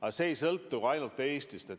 Ja see ei sõltu ainult Eestist.